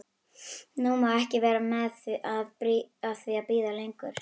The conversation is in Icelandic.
Nú má ég ekki vera að því að bíða lengur.